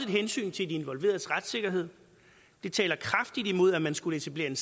hensyn til de involveredes retssikkerhed det taler kraftigt imod at man skulle etablere